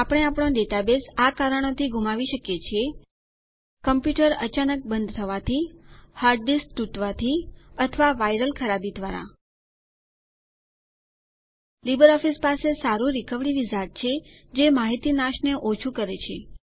આપણે આપણો ડેટાબેઝ આ કારણોથી ગુમાવી શકીએ છીએ લીબરઓફીસ પાસે સારું રીકવરી વિઝાર્ડ છે જે માહિતી નાશને ઓછું કરે છે